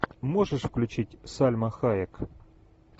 можешь включить сальма хайек